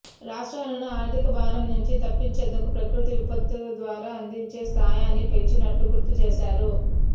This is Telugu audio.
రాష్ట్రాలను ఆర్థిక భారం నుంచి తప్పించేందుకు ప్రకృతి విపత్తు ద్వారా అందించే సాయాన్ని పెంచినట్లు గుర్తు చేశారు